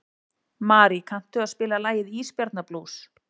Marí, kanntu að spila lagið „Ísbjarnarblús“?